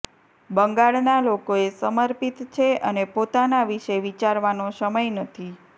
બંગાળનાં લોકોને સર્મિપત છે અને પોતાના વિષે વિચારવાનો સમય નથી